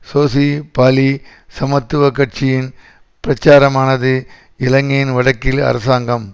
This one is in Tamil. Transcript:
சோசி பாலி சமத்துவ கட்சியின் பிரச்சாரமானது இலங்கையின் வடக்கில் அரசாங்கம்